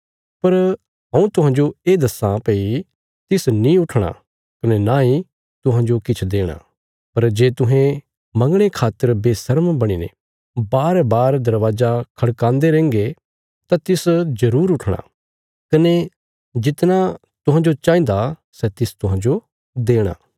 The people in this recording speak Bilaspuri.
पर हऊँ तुहांजो ये दस्सां भई तिस नीं उठणा कने नांई तुहांजो किछ देणा पर जे तुहें मंगणे खातर बेशर्म बणीने बारबार दरवाजा खड़कांदे रेहंगे तां तिस जरूर उठणा कने जितना तुहांजो चाहिन्दा सै तिस तुहांजो देणा